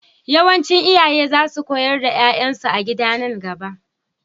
Yawancin iyaye za su koyar da 'ya'yansu a gida a nan gaba.